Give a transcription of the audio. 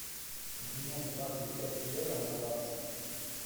обменять двадцать пять евро на баксы